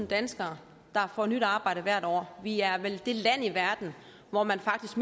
danskere der får nyt arbejde hvert år vi er vel det land i verden hvor man faktisk